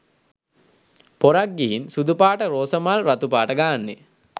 පොරක් ගිහින් සුදු පාට රෝසමල් රතුපාට ගාන්නෙ